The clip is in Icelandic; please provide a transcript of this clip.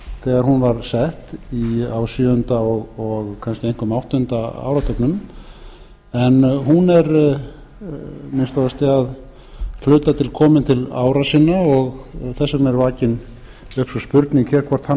þegar hún var sett á sjöunda og kannski einkum áttunda áratugnum en hún er að minnsta kosti að hluta til komin til ára sinna og þess vegna er vakin upp sú spurning hér hvort hana þurfi ekki